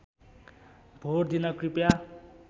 vote दिन कृपया